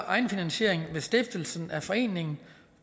egenfinansiering ved stiftelsen af foreningen